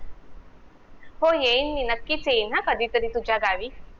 हो येईन मी नक्कीच येईल हा कधीतरी तुमच्या गावी